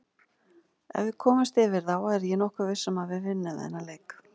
Ef við komumst yfir þá er ég nokkuð viss um að við vinnum þennan leik.